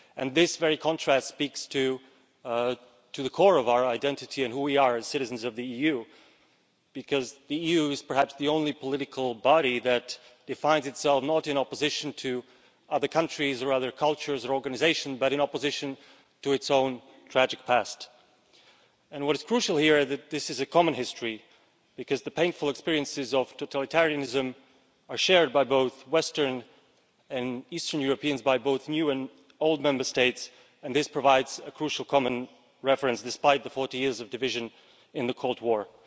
This very contrast speaks to the core of our identity and who we are as citizens of the EU, because the EU is perhaps the only political body that defines itself not in opposition to other countries, cultures or organisations but in opposition to its own tragic past. What is crucial here is that this is a common history, because the painful experiences of totalitarianism are shared by both Western and Eastern Europeans and by both new and old Member States, and this provides a crucial common reference despite the 40 years of division in the Cold War.